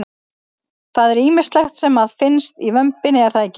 Það er ýmislegt sem að finnst í vömbinni er það ekki?